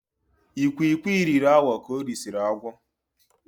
Ikwikwi riri awọ ka orisiri agwọ.